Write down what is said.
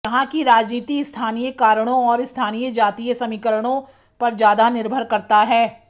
यहां की राजनीति स्थानीय कारणों और स्थानीय जातीय समीकरणों पर ज्यादा निर्भर करता है